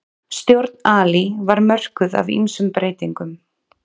Stjórn Ali var mörkuð af ýmsum breytingum.